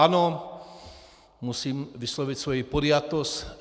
Ano, musím vyslovit svoji podjatost.